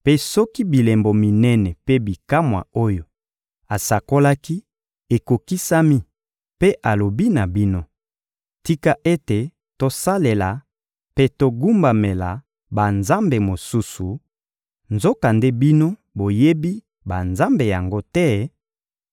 mpe soki bilembo minene mpe bikamwa oyo asakolaki ekokisami mpe alobi na bino: «Tika ete tosalela mpe togumbamela banzambe mosusu,» nzokande bino boyebi banzambe yango te,